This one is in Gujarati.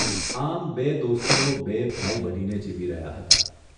આમ બે દોસ્તો, બે ભાઇ બનીને જીવી રહ્યા હતા.